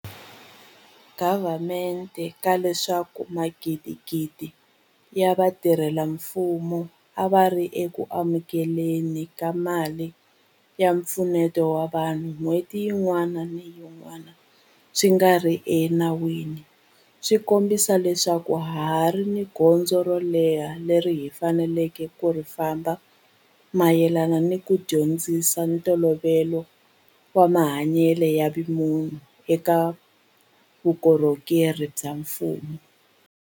Gavamente ka leswaku magidigidi ya vatirhela mfumo a va ri eku amukele ni ka mali ya mpfuneto wa vanhu n'hweti yin'wana ni yin'wana swi nga ri enawini swi kombisa leswaku ha ha ri ni gondzo ro leha leri hi faneleke ku ri famba mayelana ni ku dyondzisa ntolovelo wa mahanyelo ya vumunhu eka vukorhokeri bya mfumo.